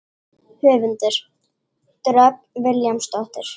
Höfundur: Dröfn Vilhjálmsdóttir.